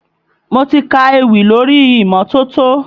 Mo ti ka ewì lórí imọtoto